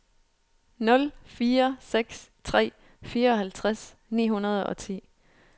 nul fire seks tre fireoghalvtreds ni hundrede og ti